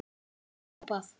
var hrópað.